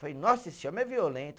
Falei, nossa, esse homem é violento.